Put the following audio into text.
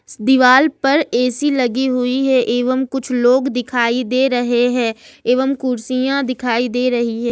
दीवाल पर ए_सी लगी हुई है एवं कुछ लोग दिखाई दे रहे हैं एवं कुर्सियां दिखाई दे रही है।